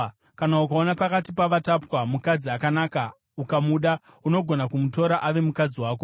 kana ukaona pakati pavakatapwa mukadzi akanaka ukamuda, unogona kumutora ave mukadzi wako.